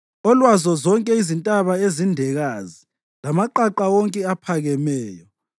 olwazo zonke izintaba ezindekazi lamaqaqa wonke aphakemeyo,